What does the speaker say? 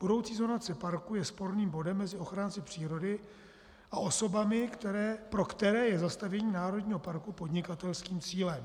Budoucí zonace parku je sporným bodem mezi ochránci přírody a osobami, pro které je zastavění národního parku podnikatelským cílem."